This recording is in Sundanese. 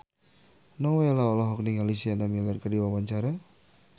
Nowela olohok ningali Sienna Miller keur diwawancara